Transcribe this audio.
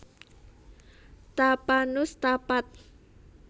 Tapanus Tapat